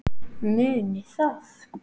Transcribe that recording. Munið það.